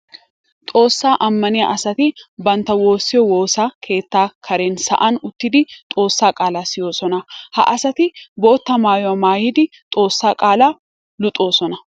Xoosa amaniya asatti bantta woosiyo woosa keetta karen sa'an uttiddi xoossa qaala siyoosonna. Ha asati bootta maayuwa maayiddi xoossaa qaala luxosonna.